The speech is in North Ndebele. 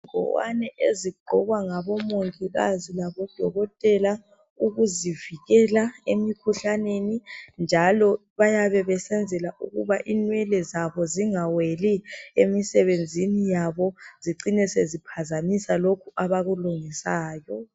Ingwane ezigqokwa ngabo mongikazi labo dokotela ukuzivikela emikhuhlaneni. Njalo bayabe besenzela ukuba inwele zabo zingaweli emisebenzini yabo. Zicine seziphazamisa lokho abakulungisayo.